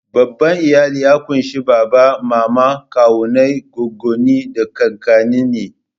Babban iyali ya ƙunshi baba, mama, kawunnai, goggonni, da kakanni ne.